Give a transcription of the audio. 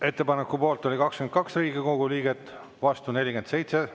Ettepaneku poolt oli 22 Riigikogu liiget, vastu 47.